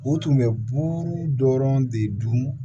U tun bɛ buru dɔrɔn de dun